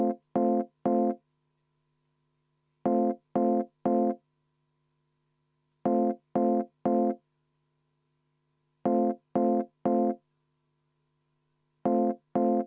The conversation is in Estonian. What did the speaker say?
Meie arvates see muudatus annab liiga vabad käed Haridus- ja Teadusministeeriumile oma suva järgi tegutseda.